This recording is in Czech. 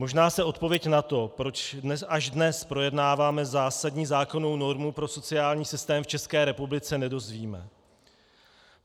Možná se odpověď na to, proč až dnes projednáváme zásadní zákonnou normu pro sociální systém v České republice, nedozvíme.